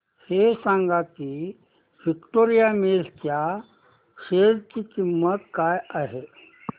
हे सांगा की विक्टोरिया मिल्स च्या शेअर ची किंमत काय आहे